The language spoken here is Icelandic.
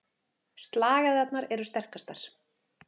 Slagæðarnar eru sterkastar.